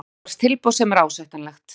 Okkur barst tilboð sem er ásættanlegt.